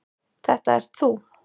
Þetta ert þú.